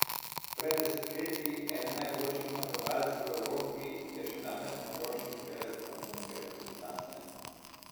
Pred desetletji eden najboljših napadalcev v Evropi je še danes najboljši strelec romunske reprezentance.